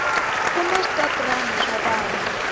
kuna switotrna swa vana